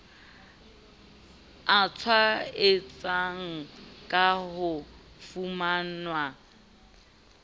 a tshwaetsang a ka fumanwang